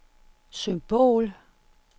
symbol